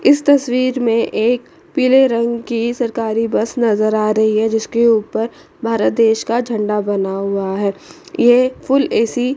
इस तस्वीर में एक पीले रंग की सरकारी बस नजर आ रही है जिसके ऊपर भारत देश का झंडा बना हुआ है ये फूल ऐ_सी --